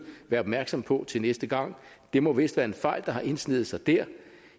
være opmærksomme på til næste gang det må vist være en fejl der har indsneget sig der